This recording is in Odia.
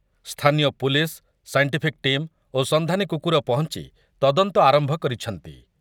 ସ୍ଥାନୀୟ ପୁଲିସ୍, ସାଇଣ୍ଟିଫିକ୍ ଟିମ୍ ଓ ସନ୍ଧାନୀ କୁକୁର ପହଞ୍ଚ୍ ତଦନ୍ତ ଆରମ୍ଭ କରିଛନ୍ତି ।